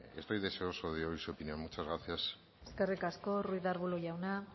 estoy deseoso de oír su opinión muchas gracias eskerrik asko ruiz de arbulo jauna